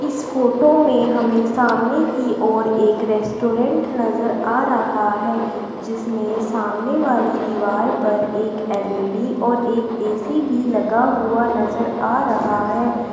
इस फोटो में हमें सामने की ओर एक रेस्टोरेंट नजर आ रहा है जिसमें सामने वाली दीवार पर एक एल_ई_डी और एक ए_सी भी लगा हुआ नजर आ रहा है।